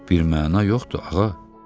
Birməna yoxdur, ağa.